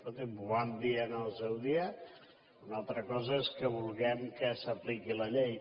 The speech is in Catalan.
escolti’m ho vam dir en el seu dia una altra cosa és que vulguem que s’apliqui la llei